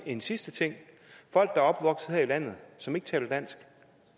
en sidste ting folk der er opvokset her i landet og som ikke taler dansk og